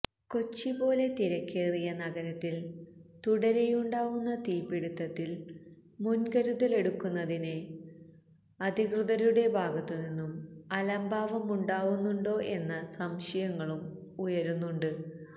കൊച്ചി പോലെ തിരക്കേറിയ നഗരത്തില് തുടരെയുണ്ടാവുന്ന തീപിടിത്തത്തില് മുന്കരുതലെടുക്കുന്നതില് അദികൃതരുടെ ഭാഗത്ത് നിന്നും അലംഭാവമുണ്ടാവുന്നുണ്ടോ എന്ന സംശയങ്ങളും ഉയരുന്നുണ്ട്